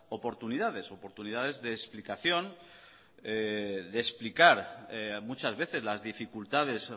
oportunidades oportunidades de explicación de explicar muchas veces las dificultades